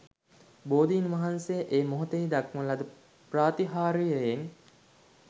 බෝධින් වහන්සේ ඒ මොහොතෙහි දක්වන ලද ප්‍රාතිහාර්යයෙන්